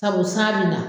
Sabu san bɛ na